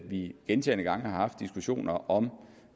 vi gentagne gange har haft diskussioner om